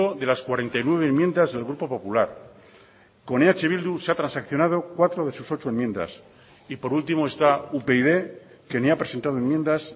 de las cuarenta y nueve enmiendas del grupo popular con eh bildu se ha transaccionado cuatro de sus ocho enmiendas y por último está upyd que ni ha presentado enmiendas